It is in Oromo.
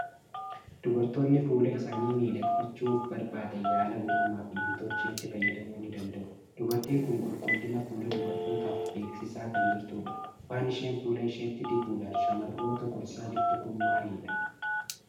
Dubartoonni fuula isaanii miidhagfachuu barbaadan yaala uumamaa fi kan nam-tolcheetti fayyadamuu ni danda'u. Dubartiin kun qulqullina fuula dubartootaaf beeksisaa kan jirtudha. Waan isheen fuula isheetti dibuudhaan shamarroota gorsaa jirtu kun maalidha?